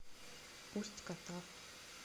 усть катав